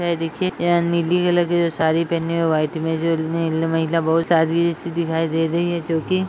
ये देखिए यह नीली कलर की जो साड़ी पहनी है वाइट मे जो महिला बहोत सादगी सी दिखाई दे रही है जो कि --